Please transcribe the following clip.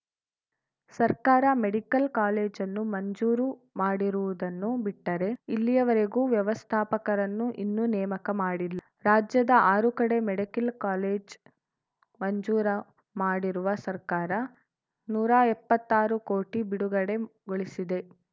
ಸರ್ಕಾರ ಮೆಡಿಕಲ್‌ ಕಾಲೇಜನ್ನು ಮಂಜೂರು ಮಾಡಿರುವುದನ್ನು ಬಿಟ್ಟರೆ ಇಲ್ಲಿಯವರೆಗೂ ವ್ಯವಸ್ಥಾಪಕರನ್ನು ಇನ್ನೂ ನೇಮಕ ಮಾಡಿಲ್ಲ ರಾಜ್ಯದ ಆರು ಕಡೆ ಮೆಡಿಕಲ್‌ ಕಾಲೇಜ್ ಮಂಜೂರು ಮಾಡಿರುವ ಸರ್ಕಾರ ನೂರಾ ಎಪ್ಪತ್ತಾರು ಕೋಟಿ ಬಿಡುಗಡೆಗೊಳಿಸಿದೆ